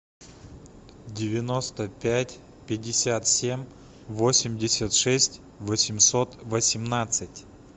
девяносто пять пятьдесят семь восемьдесят шесть восемьсот восемнадцать